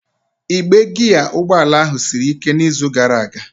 Igbe giya ụgbọ ala ahụ siri ike n'izu gara aga.